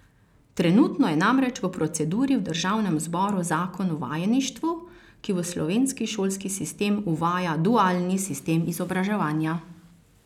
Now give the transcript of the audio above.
Trenutno je namreč v proceduri v državnem zboru zakon o vajeništvu, ki v slovenski šolski sistem uvaja dualni sistem izobraževanja.